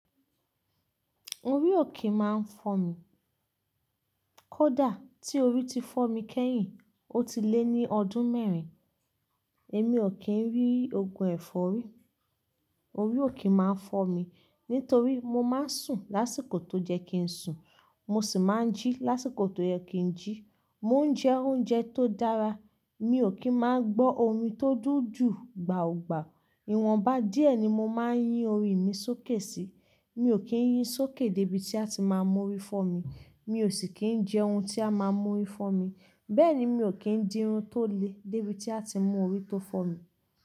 Orí ò ki máa ń fọ́ mi. Kódà tí orí ti fọ́ mi kẹ́yìn, ó ti lé ní ọdún mẹ́rin, èmi ò kí ń rí ògùn ẹ̀fọ́rí. Orí òkè máa ń fọ́ mi nítorí mo máa ń sùn lásìkò tó jẹ́ kí n sùn, mo sì máa ń jí lásìkò tó yẹ kí n jí. Mo ń jẹ oúnjẹ tó dára, mi ò kí ń máa gbọ́ orin tó dúdú gbàọ̀gbà. Ìwọ̀n bá díẹ̀ ni mo máa ń yín orí mi sókè síi. Mi ò kí ń yín sókè dé ibi tí a ti máa mú orí fọ́ mi, mi ò sì kí ń jẹ ohun tí a máa mú orí fọ́ mi, bẹ́ẹ̀ ni mi ò kí ń dirun tó le dé ibi tí a ti mú orí tó fọ́ mi.